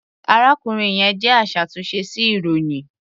Arákùnrin yẹn jẹ́ aṣàtúnṣe sí ilròyìn.